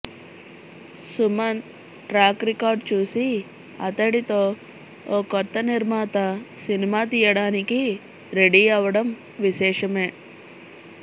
Sumanth track record చూసి అతడితో ఓ కొత్త నిర్మాత సినిమా తీయడానికి రెడీ అవడం విశేషమే